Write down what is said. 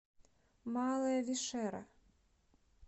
малая вишера